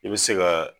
I bɛ se ka